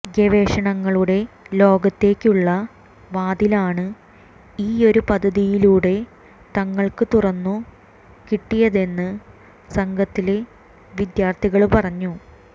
ഗവേഷണങ്ങളുടെ ലോകത്തേക്കുള്ള വാതിലാണ് ഈയൊരു പദ്ധതിയിലൂടെ തങ്ങള്ക്ക് തുറന്നു കിട്ടിയതെന്ന് സംഘത്തിലെ വിദ്യാര്ഥികള് പറഞ്ഞു